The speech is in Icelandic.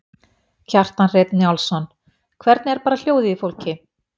Kjartan Hreinn Njálsson: Hvernig er bara hljóðið í fólki?